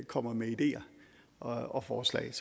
kommer med ideer og forslag